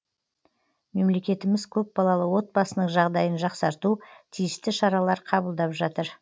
мемлекетіміз көпбалалы отбасының жағдайын жақсарту тиісті шаралар қабылдап жатыр